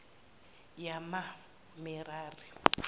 yamamerari